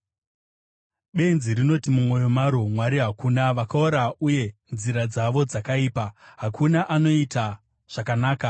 Benzi rinoti mumwoyo maro, “Mwari hakuna.” Vakaora, uye nzira dzavo dzakaipa; hakuna anoita zvakanaka.